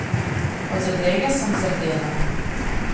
Od zadrege sem zardela.